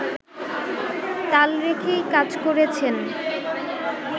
তাল রেখেই কাজ করেছেন